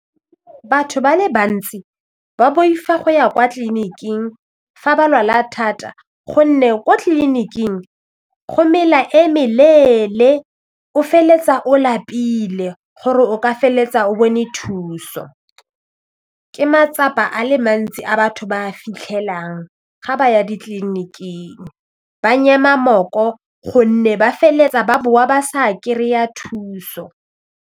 Batho ba le bantsi ba boifa go ya kwa tleliniking fa ba lwala thata gonne kwa tleliniking go mela e meleele, o feleletsa o lapile gore o ka fa tsa o bone thuso, ke matsapa a le mantsi a batho ba fitlhelang ga ba ya ditleliniking ba nyema mooko gonne ba feleletsa ba boa ba sa kry-a thuso.